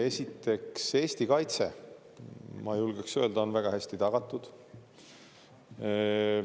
Esiteks, Eesti kaitse, ma julgeks öelda, on väga hästi tagatud.